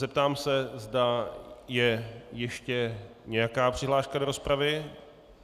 Zeptám se, zda je ještě nějaká přihláška do rozpravy.